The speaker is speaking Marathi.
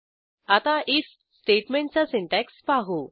आता आयएफ स्टेटमेंटचा सिंटॅक्स पाहू